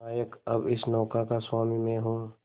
नायक अब इस नौका का स्वामी मैं हूं